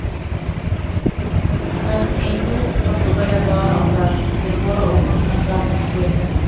кампинью португалиядағы аудан эвора округінің құрамына кіреді